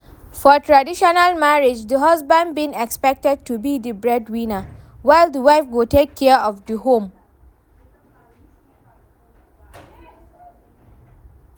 for traditional marriage, di husband being expected to be di breadwinner, while di wife go take care of di home.